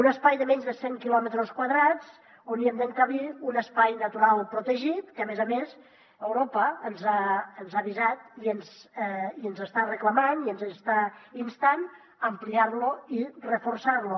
un espai de menys de cent quilòmetres quadrats on hi hem d’encabir un espai natural protegit que a més a més europa ens ha avisat i ens està reclamant i ens està instant a ampliar lo i reforçar lo